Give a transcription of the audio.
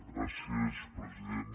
gràcies president